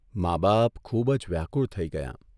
મા બાપ ખૂબજ વ્યાકુળ થઇ ગયાં.